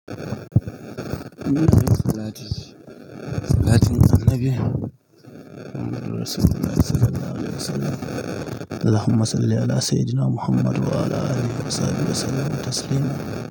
Wannan dai salati ce, salatin Annabi Muhammad Sallallahu alaihi wasallam. "Allahumma salli ala sayyiduna Muhammadun wa ala alihi wasahabihi wasallama taslima."